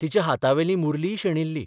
तिच्या हातांवेली मुरलीय शेणिल्ली.